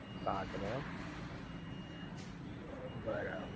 કાચ નો એમ? બરાબર